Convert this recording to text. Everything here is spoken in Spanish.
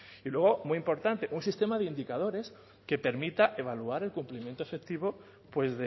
y luego muy importante un sistema de indicadores que permita evaluar el cumplimiento efectivo pues